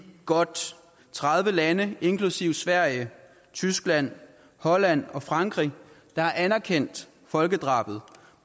godt tredive lande inklusive sverige tyskland holland og frankrig der har anerkendt folkedrabet